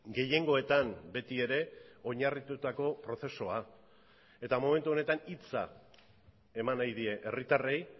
gehiengoetan beti ere oinarritutako prozesua eta momentu honetan hitza eman nahi die herritarrei